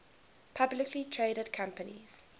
publicly traded companies